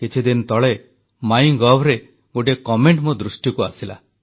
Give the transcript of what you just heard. କିଛିଦିନ ତଳେ ମାଇଁ ଗଭରେ ଗୋଟିଏ ମନ୍ତବ୍ୟ ମୋ ଦୃଷ୍ଟିକୁ ଆସିଲା